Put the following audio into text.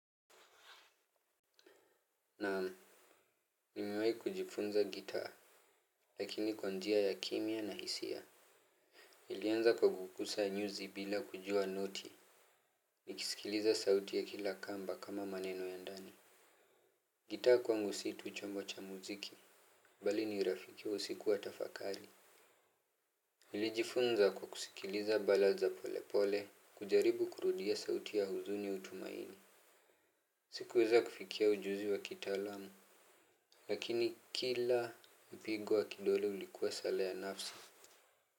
Naam. Nimewai kujifunza gitaa. Lakini kwa njia ya kimya na hisia nilianza kwa kugusa nyuzi bila kujua noti. Nikisikiliza sauti ya kila kamba kama maneno ya ndani gitaa kwangu si tu chombo cha muziki. Bali ni rafiki usiku wa tafakari. Nilijifunza kwa kusikiliza bala za pole pole. Kujaribu kurudia sauti ya huzuni utumaini sikuweza kufikia ujuzi wa kitaalamu. Lakini kila mpigo wa kidole ulikuwa sala ya nafsi.